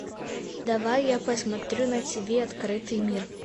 давай я посмотрю на тв открытый мир